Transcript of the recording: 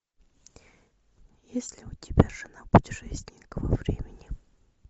есть ли у тебя жена путешественника во времени